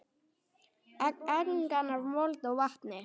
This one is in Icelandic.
Angan af mold og vatni.